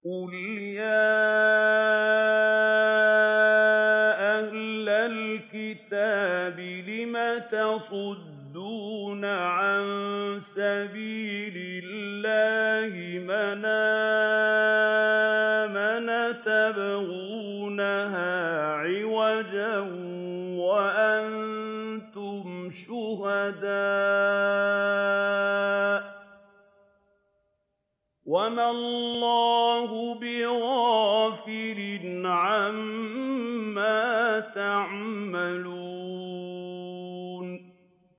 قُلْ يَا أَهْلَ الْكِتَابِ لِمَ تَصُدُّونَ عَن سَبِيلِ اللَّهِ مَنْ آمَنَ تَبْغُونَهَا عِوَجًا وَأَنتُمْ شُهَدَاءُ ۗ وَمَا اللَّهُ بِغَافِلٍ عَمَّا تَعْمَلُونَ